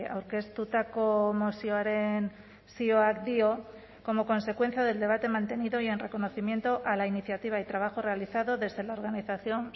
aurkeztutako mozioaren zioak dio como consecuencia del debate mantenido y en reconocimiento a la iniciativa y trabajo realizado desde la organización